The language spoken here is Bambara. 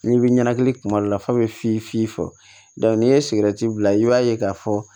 N'i bɛ ɲɛnɛkili kuma dɔ la f'a bɛ fin fi dɔn ni ye sigɛriti bila i b'a ye k'a fɔ